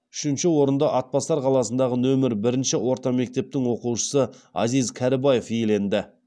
үшінші орынды атбасар қаласындағы нөмір бірінші орта мектептің оқушысы азиз кәрібаев иеленді